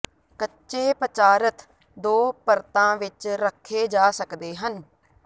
ਕੱਚੇ ਪਦਾਰਥ ਦੋ ਪਰਤਾਂ ਵਿਚ ਰੱਖੇ ਜਾ ਸਕਦੇ ਹਨ